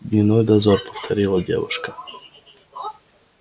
дневной дозор повторила девушка